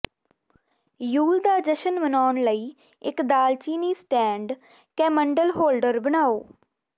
you'll ਦਾ ਜਸ਼ਨ ਮਨਾਉਣ ਲਈ ਇੱਕ ਦਾਲਚੀਨੀ ਸਟੈਂਡ ਕੈਮੰਡਲਹੋਲਡਰ ਬਣਾਉ